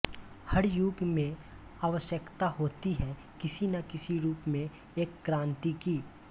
हर युग में आवश्यकता होती है किसी न किसी रूप में एक क्रान्ति की